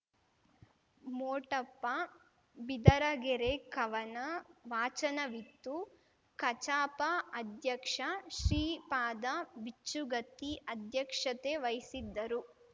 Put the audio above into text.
ಮೋಟಪ್ಪ ಬಿದರಗೆರೆ ಕವನ ವಾಚನವಿತ್ತು ಕಚಾಪ ಅಧ್ಯಕ್ಷ ಶ್ರೀಪಾದ ಬಿಚ್ಚುಗತ್ತಿ ಅಧ್ಯಕ್ಷತೆ ವಹಿಸಿದ್ದರು